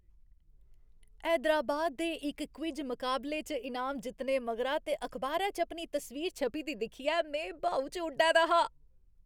हैदराबाद दे इक क्विज मकाबले च इनाम जित्तने मगरा ते अखबारै च अपनी तस्वीर छपी दी दिक्खियै में ब्हाऊ च उड्डै दा हा ।